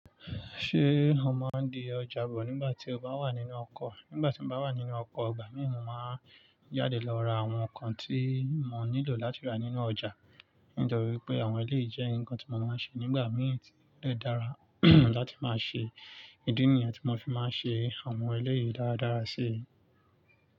Ṣé o máa ń di ọjà bọ̀ nígbà tí o bá wà nínú ọkọ̀? Nígbà tí mo bá wà nínú ọkọ̀, ìgbà míì mo máa ń jáde lọ ra àwọn nǹkan tí mo nílò láti rà nínú ọjà. Nítorí pé àwọn eléyìí jẹ́ nǹkan tí mo máa ń ṣe nígbà mí ì tó dẹ̀ dára láti máa ṣe. Ídí nìyẹn tí mo fi máa ń ṣe àwọn eléyìí dáradára sí i.